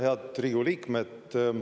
Head Riigikogu liikmed!